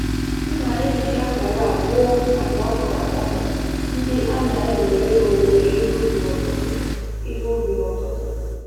M na eji akara a gụọ nkata okra ọnụ ndị a na-ewere owuwe ihe ubi n'ụtụtụ ihe ubi n'ụtụtụ